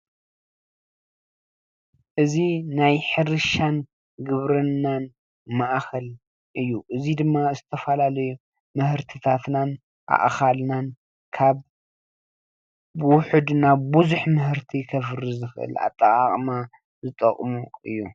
እዚ ናይ ሕርሻን ግብርናን ማእኸል እዩ። እዚ ድማ ዝተፈላለዩ ምህርትታትናን ኣእኻልናን ካብ ውሕድ ናብ ብዙሕ ምህርቲ ከፍሪ ዝክል ኣጠቃቅማ ዝጠቅሙ እዮም።